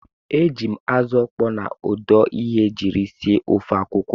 E jiiri m azụ ọkpọọ na ọdụ ehi jiri sie ofe akwụkwọ.